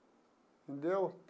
Entendeu?